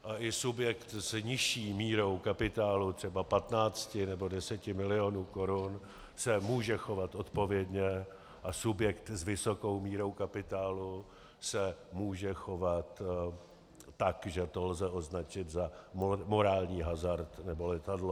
A i subjekt s nižší mírou kapitálu, třeba 15 nebo 10 mil. korun, se může chovat odpovědně a subjekt s vysokou mírou kapitálu se může chovat tak, že to lze označit za morální hazard nebo letadlo.